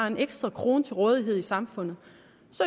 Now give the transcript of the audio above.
en ekstra krone til rådighed i samfundet